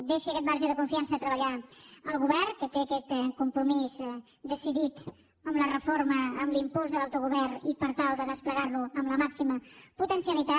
deixi aquest marge de confiança de treballar al govern que té aquest compromís decidit amb la reforma amb l’impuls de l’autogovern i per tal de desplegar lo amb la màxima potencialitat